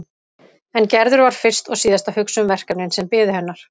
En Gerður var fyrst og síðast að hugsa um verkefnin sem biðu hennar.